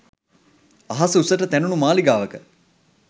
අහස උසට තැනුණු මාලිගාවක